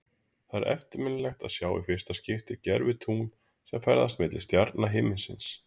Það er eftirminnilegt að sjá í fyrsta skipti gervitungl sem ferðast milli stjarna himinsins.